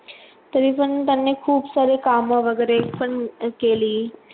तरी पण त्यांनी खूप सारे कामं वैगरे पण केली.